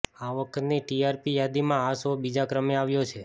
આ વખતની ટીઆરપી યાદીમાં આ શો બીજા ક્રમે આવ્યો છે